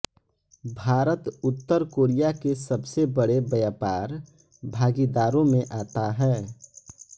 भारत उत्तर कोरिया के सबसे बड़े व्यापार भागीदारों में आता है